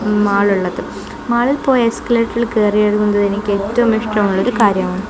Mall ഉള്ളത് മാളിൽ പോയി എസ്കലേറ്ററിൽ കയറി ഇറങ്ങുന്നത് എനിക്ക് ഏറ്റവും ഇഷ്ടമുള്ള ഒരു കാര്യമാണ്.